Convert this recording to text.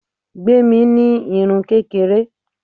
Gbemi ní irun kékeré.